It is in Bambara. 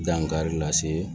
Dankari lase